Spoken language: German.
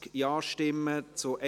Ja / Oui Nein /